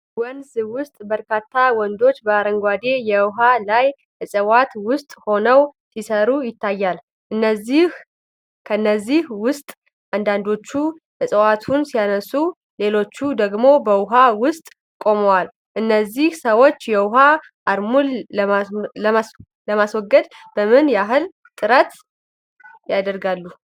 ወንዝ ውስጥ በርካታ ወንዶች በአረንጓዴ የውሃ ላይ እጽዋት ውስጥ ሆነው ሲሰሩ ይታያሉ። ከእነዚህ ውስጥ አንዳንዶቹ ዕፅዋቱን ሲያነሱ፣ ሌሎች ደግሞ በውሃ ውስጥ ቆመዋል። እነዚህ ሰዎች የውሃ አረሙን ለማስወገድ ምን ያህል ጥረት ያደርጋሉ?